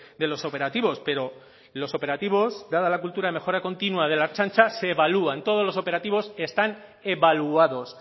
de los operativos pero los operativos dada la cultura de mejora continua de la ertzaintza se evalúan todos los operativos están evaluados